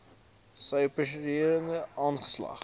sy operasionele aanslag